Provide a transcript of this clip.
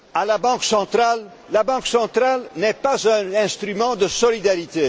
La Banque centrale n'est pas un instrument de solidarité.